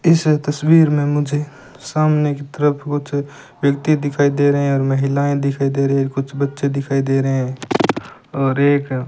इस तसवीर में मुझे सामने की तरफ कुछ व्यक्ति दिखाई दे रहे हैं और महिलाएं दिखाई दे रही है कुछ बच्चे दिखाई दे रहे हैं और एक --